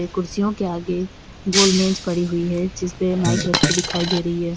कुर्सियों के आगे गोलमेज पड़ी हुई है जिसपे माइक रखी दिखाई दे रही है।